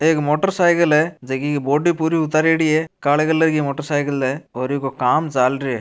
एक motorcycle है जकी की बॉडी पूरी उतारयोड़ी है काले कलर की मोटर साइकिल है और ईको काम चाल रहियो है।